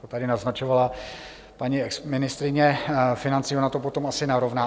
To tady naznačovala paní exministryně financí, ona to potom asi narovná.